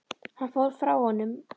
Hann fór frá honum.